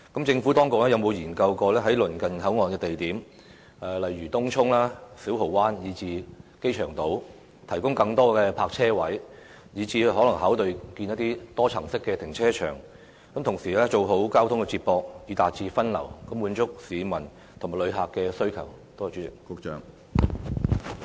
政府當局有否研究在鄰近口岸的地方，例如東涌、小蠔灣以至機場島提供更多泊車位，甚至考慮興建多層停車場，做好交通接駁以達到分流效果，以滿足市民及旅客的需求？